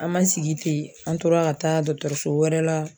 An ma sigi ten an tora ka taa dɔgɔtɔrɔso wɛrɛ la